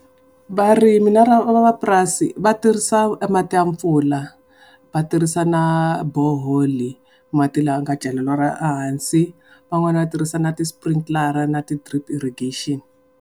Varimi na van'wamapurasi va tirhisa mati ya pfula, va tirhisa na borehole-i, mati lama nga celeriwa ehansi. Van'wana va tirhisa na ti-sprinkler-a na ti drip irrigation.